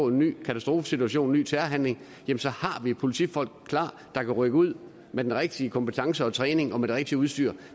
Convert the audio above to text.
en ny katastrofesituation en ny terrorhandling har vi politifolk klar der kan rykke ud med den rigtige kompetence og træning og med det rigtige udstyr